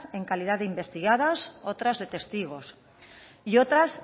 en calidad de investigadas otras de testigos y otras